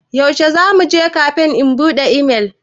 Yaushe za mu je kafe in buɗe imel?